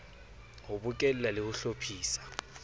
ho bokella le ho hlophisa